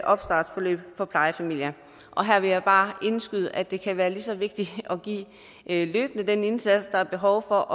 opstartsforløb for plejefamilier og her vil jeg bare indskyde at det kan være lige så vigtigt løbende at give den indsats der er behov for